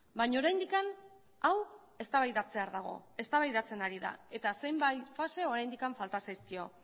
baina oraindik hau eztabaidatzear dago eztabaidatzen ari da eta zenbait fase oraindik falta zaizkio